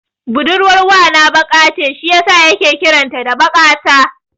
Budurwar wana baƙa ce shi yasa yake kiran ta da Baƙata.